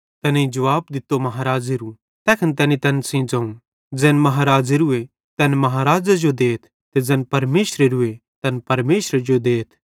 तैनेईं जुवाब दित्तो महाज़ेरू तैखन तैनी तैन सेइं ज़ोवं ज़ैन महाराज़ेरूए तैन महारज़े जो देथ ते ज़ैन परमेशरेरू ए तैन परमेशरे जो देथ